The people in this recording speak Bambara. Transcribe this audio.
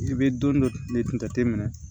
I bɛ don dɔ de jate minɛ